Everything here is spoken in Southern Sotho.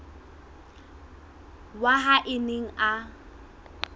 wa hae a neng a